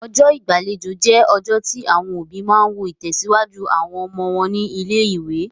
Ọjọ́ ìgbàlejò jẹ́ ọjọ́ tí àwọn òbí máa ń wo ìtẹ̀síwájú àwọn ọmọ wọn ní ilé-ìwé.